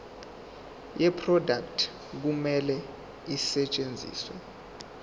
yeproduct kumele isetshenziswe